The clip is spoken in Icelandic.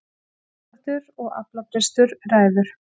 Samdráttur og aflabrestur ræður